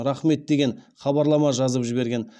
рахмет деген хабарлама жазып жіберген